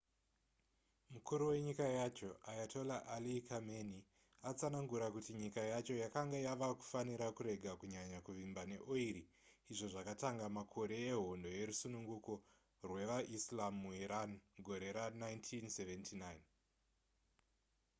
mukuru wenyika yacho ayatollah ali khamenei akatsanangura kuti nyika yacho yakanga yava kufanira kurega kunyanya kuvimba neori izvo zvakatanga makore ehondo yerusununguko rwevaislam muiran mugore ra1979